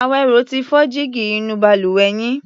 Àwẹ̀ró ti fọ́ jígí inú balùwẹ̀ yín.